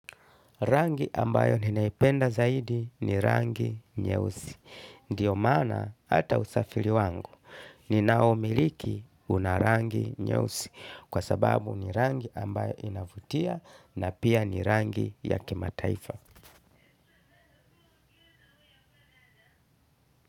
Rangi ambayo ninaipenda zaidi ni rangi nyeusi. Ndio maana hata usafiri wangu, ninaomiliki una rangi nyeusi. Kwa sababu ni rangi ambayo inavutia na pia ni rangi ya kimataifa.